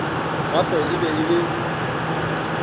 gape e be e le